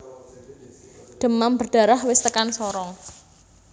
Demam berdarah wis tekan Sorong